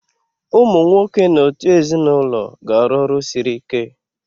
Ụmụ nwoke n'otu ezinụlọ ga-arụ ọrụ siri ike.